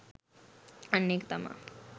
අන්න ඒක තමා